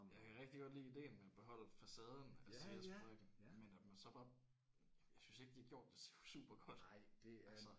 Ja jeg kan rigtig godt lide ideen med at beholde facaden af Ceres fabrikken men at man så bare jeg synes ikke de har gjort det super godt altså